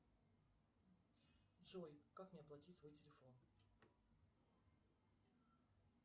джой как мне оплатить свой телефон